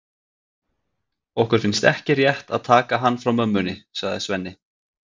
Okkur finnst ekki rétt að taka hann frá mömmunni, sagði Svenni.